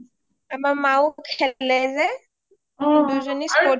আমাৰ মাওঁ খেলে যে অ দুজনী sports অত interested